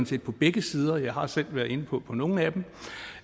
set på begge sider og jeg har selv været inde på på nogle